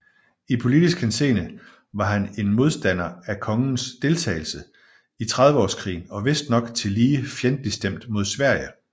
I politisk henseende var han en modstander af kongens deltagelse i trediveårskrigen og vistnok tillige fjendtlig stemt imod Sverige